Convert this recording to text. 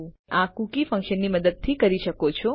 તમે આ સેટકુકી ફન્કશનની મદદથી કરી શકો છો